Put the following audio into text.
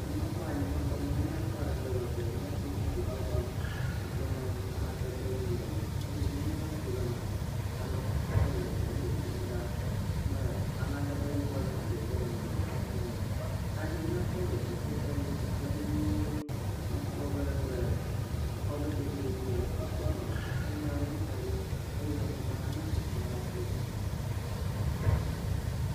Ne m]akpɔ anyinɔxɔme hã nyakpɔ ale gbegbe. M]akpɔ zikpui bɔbɔe si ke ne amadede ʋi le eme eye ne m]ele ŋku ɖe emea, ametata aɖe le glia nu dzedzem ɖaa. Ame amadede yibɔ aɖe hã dzedzem nɔnɔnmetata la me. Kaɖiwo nyakpɔ le dziƒo eye wo keklem nyuie. M]akpɔ be le exɔ ƒe dzogui dzi wokɔ nɔnɔmetata nyakpɔ aɖewo hã da ɖi eye anyigba nyakpɔkpɔm ale gbegbe.